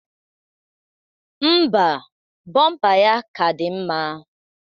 Ḿbà, bọmpa ya ka dị mma.